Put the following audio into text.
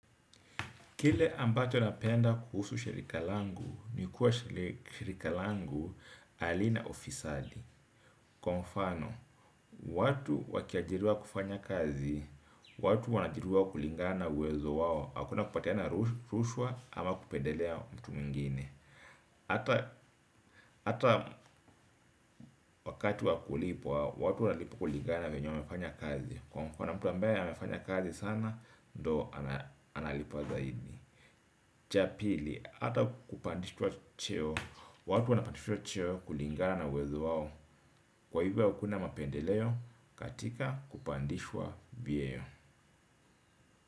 Kile ambacho napenda kuhusu shirika langu ni kuwa shirika langu halina ufisadi. Kwa mfano, watu wakiajiriwa kufanya kazi, watu wanaajiriwa kulingana na uwezo wao. Hakuna kupatiana ruswa ama kupendelea mtu mwingine, hata hata wakati wa kulipwa, watu wanalipwa kulingana na venye wamefanya kazi. Kwa mfano, mtu ambaye amefanya kazi sana, ndo analipwa zaidi. Cha pili, hata kupandishwa cheo watu wanapandishwa cheo kulingana na uwezo wao. Kwa hivyo hakuna mapendeleo katika kupandishwa vyeo.